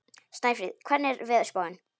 Snæfríð, hvernig er veðurspáin?